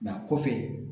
kɔfɛ